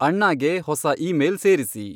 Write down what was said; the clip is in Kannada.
ಅಣ್ಣಾಗೆ ಹೊಸ ಇಮೇಲ್ ಸೇರಿಸಿ